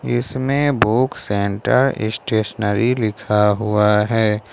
इसमें book centre stationery लिखा हुआ है।